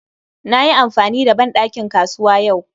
Na yi amfani da ban ɗakin kasuwa yau